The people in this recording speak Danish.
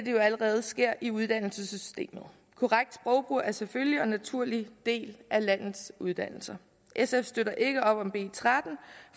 jo allerede sker i uddannelsessystemet korrekt sprogbrug er en selvfølgelig og naturlig del af landets uddannelser sf støtter ikke op om b tretten